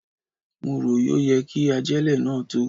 Mo rò yọ yẹ kí ajélẹ̀ náà tó.